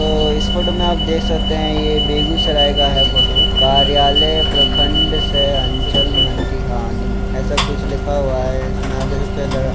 अ इस फोटो में आप देख सकते हैं ये बेगुसराए का है फोटो कार्यालय प्रखंड सहआंचल मंटीहानी ऐसा कुछ लिखा हुआ है इसमें आप देख सकतें हैं लग रहा --